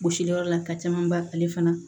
Gosili yɔrɔ la ka caman ban ale fana